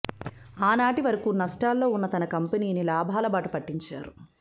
ఆనాటి వరకు నష్టాల్లో ఉన్న తనకంపెనీని లాభాల బాట పట్టించారు